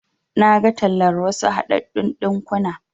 Naga tallar wasu haɗaɗɗun ɗinkuna.